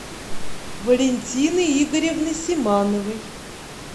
валентины игоревны симановой